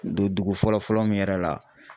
Don dugu fɔlɔ fɔlɔ min yɛrɛ la